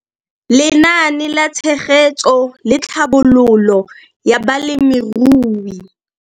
Lenaane la Tshegetso le Tlhabololo ya Balemirui.